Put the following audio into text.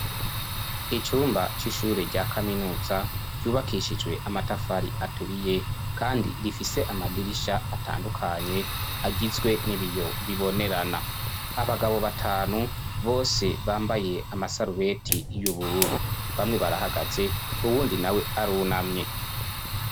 icyumba c'ishure rya kaminuza ryubakishijwe amatafari aturiye kandi rifise amadirisha atandukanye agizwe n'ibiyo bibonerana abagabo batanu bose bambaye amasaruweti y'ubururu bamwe barahagaze ubundi na we arunamye